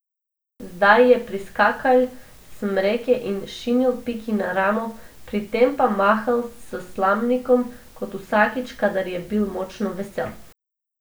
Zdaj je priskakljal s smreke in šinil Piki na ramo, pri tem pa mahal s slamnikom kot vsakič, kadar je bil močno vesel.